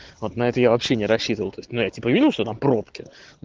вот на это я вообще не рассчитывал то есть ну я видел что там пробки